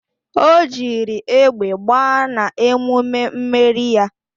O jiri egbe gbaa na emume mmeri ya